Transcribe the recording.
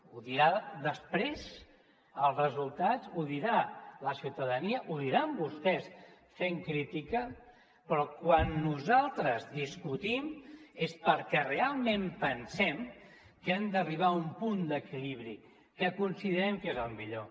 ho diran després els resultats ho dirà la ciutadania ho diran vostès fent crítica però quan nosaltres discutim és perquè realment pensem que hem d’arribar a un punt d’equilibri que considerem que és el millor